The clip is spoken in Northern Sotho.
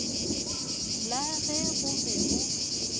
la ge go be go